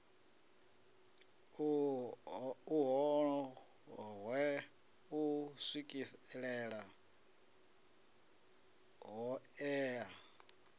u wohe u swikelele hoea